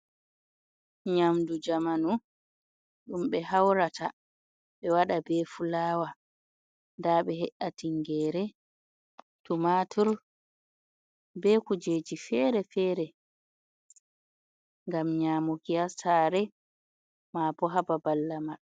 Nyamdu jamanu ɗum be haurata ɓe waɗa be fulawa. Nda ɓe he’i tingere, tumatur be kujeji fere-fere gam nyamuki ha sare, ma bo ha babal lamar.